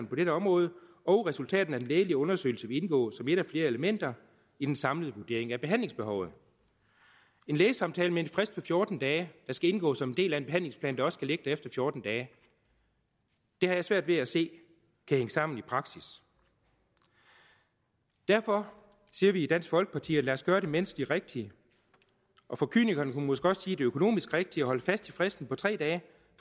på dette område og resultatet af den lægelige undersøgelse vil indgå som et af flere elementer i den samlede vurdering af behandlingsbehovet en lægesamtale med en frist på fjorten dage der skal indgå som en del af en behandlingsplan der også skal ligge der efter fjorten dage har jeg svært ved at se kan hænge sammen i praksis derfor siger vi i dansk folkeparti lad os gøre det menneskeligt rigtige og for kynikerne kan man måske også sige det økonomisk rigtige og holde fast i fristen på tre dage